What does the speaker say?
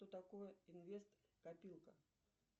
что такое инвест копилка